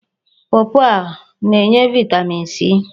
Pọọpọọ ọ na-enye vaịtamin c?